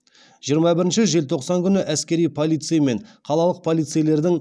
жиырма бірінші желтоқсан күні әскери полицей мен қалалық полицейлердің